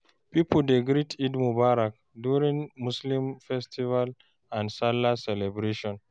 Pipo dey greet " Eid Mubarak" during muslim festival and salah celebration